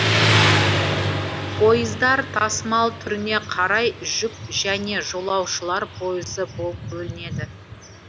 пойыздар тасымал түріне қарай жүк және жолаушылар пойызы болып бөлінеді